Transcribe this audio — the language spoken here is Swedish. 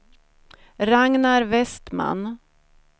Ragnar Vestman